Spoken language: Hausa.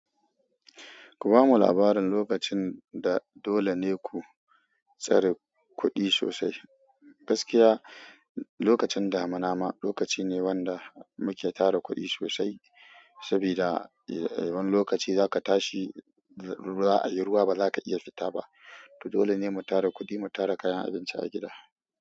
Ku bamu labarin lokacin da dole ne ku tsare kuɗi sosai. Gaskiya, lokacin damuna ma lokaci ne wanda muke tara kuɗi sosai, saboda wani lokaci zaka tashi za a yi ruwa ba za ka iya fita ba. To dole ne mu tara kuɗi, mu tara kayan abinci a gida.